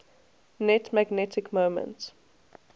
net magnetic moment